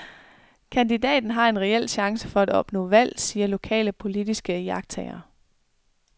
Kandidaten har en reel chance for at opnå valg, siger lokale politiske iagttagere.